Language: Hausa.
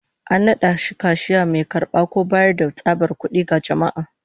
An nada shi kashiya, mai karba ko bayar da tsabar kud'i ga jama'a